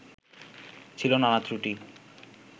ছিল নানা ত্রুটি